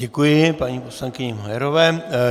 Děkuji paní poslankyni Majerové.